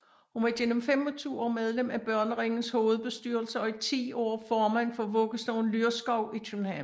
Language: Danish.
Hun var genmem 25 år medlem af Børneringens hovedbestyrelse og i ti år formand for Vuggestuen Lyrskov i København